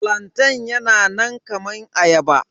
Flantain yana nan kaman ayaba.